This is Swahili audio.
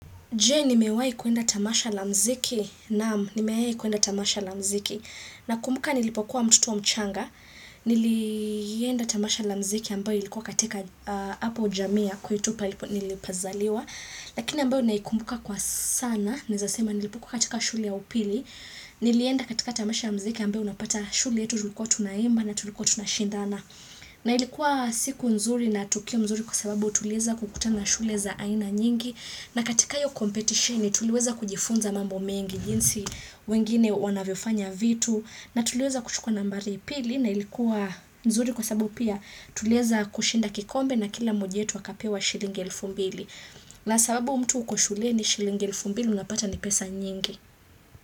Je nimewahi kuenda tamasha la mziki, naam nimewahi kwenda tamasha la mziki, nakumbuka nilipokuwa mtoto mchanga, nilienda tamasha la mziki ambayo ilikuwa katika hapo jamii ya kwetu nilipozaliwa, lakini ambayo naikumbuka kwa sana, nilipokuwa katika shuli ya upili, nilienda katika tamasha ya mziki ambayo unapata shule yetu tulikuwa tunaimba na tulikuwa tunashindana. Na ilikuwa siku nzuri na tukio mzuri kwa sababu tuliweza kukutana shule za aina nyingi na katika hiyo competition tuliweza kujifunza mambo mengi jinsi wengine wanavyofanya vitu na tuliweza kuchukua nambari la pili na ilikuwa nzuri kwa sababu pia tuliweza kushinda kikombe na kila mmoja wetu akapewa shilingi elfu mbili na sababu mtu uko shuleni shilingi elfu mbili unapata ni pesa nyingi.